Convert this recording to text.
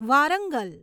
Warangal